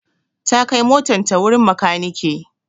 ta kai motan ta wurin makaniki